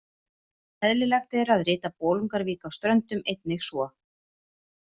Eðlilegt er að rita Bolungarvík á Ströndum einnig svo.